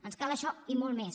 ens cal això i molt més